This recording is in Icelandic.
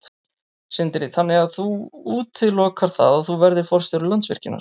Sindri: Þannig að þú útilokar það að þú verðir forstjóri Landsvirkjunar?